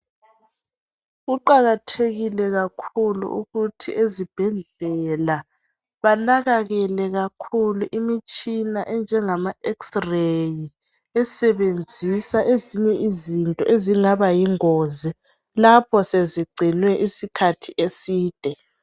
Kuqakathekile kakhulu ukuthi ezibhedlela banakekele kakhulu imitshina enjengama"X-RAY" esebenzisa ezinye izinto ezingabayingozi lapho sezicelwe isikhathi eside.